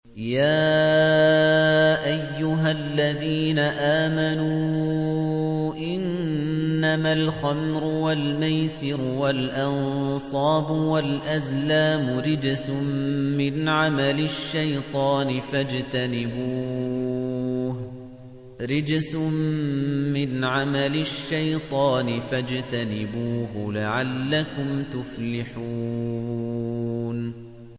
يَا أَيُّهَا الَّذِينَ آمَنُوا إِنَّمَا الْخَمْرُ وَالْمَيْسِرُ وَالْأَنصَابُ وَالْأَزْلَامُ رِجْسٌ مِّنْ عَمَلِ الشَّيْطَانِ فَاجْتَنِبُوهُ لَعَلَّكُمْ تُفْلِحُونَ